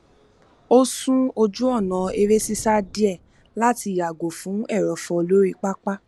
a sún ojú ọnà eré sísá díẹ láti yàgò fún ẹrọfọ lórí pápá